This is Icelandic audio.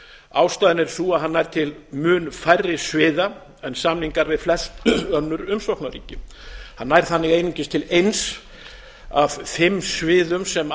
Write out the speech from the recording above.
ástæðan er sú að hann nær til mun færri sviða en samningar við flest önnur umsóknarríki hann nær þannig einungis til eins af fimm sviðum sem